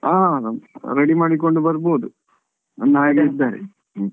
ಹಾ ready ಮಾಡಿಕೊಂಡು ಬರ್ಬೋದು ಅಣ್ಣ ಹಾಗೆಲ್ಲ ಇದ್ದಾರೆ ಇಲ್ಲಿ.